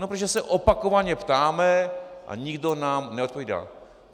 No, protože se opakovaně ptáme a nikdo nám neodpovídá.